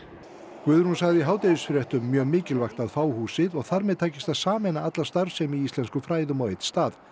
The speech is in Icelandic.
Guðrún sagði í hádegisfréttum mjög mikilvægt að fá húsið og þar með takist að sameina alla starfsemi í íslenskum fræðum á einn stað